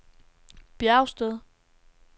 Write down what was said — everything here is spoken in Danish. Bjergsted